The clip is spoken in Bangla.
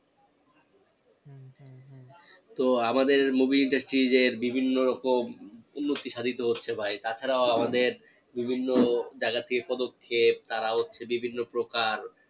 তো আমাদের movie industry যে বিভিন্ন রকম উন্নতি সাধিত হচ্ছে বা তাছাড়াও আমাদের বিভিন্ন জাগা থেকে পদক্ষেপ তারা হচ্ছে বিভিন্ন প্রকার।